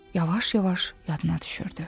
Yavaş-yavaş yadına düşürdü.